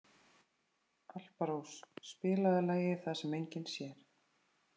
Alparós, spilaðu lagið „Það sem enginn sér“.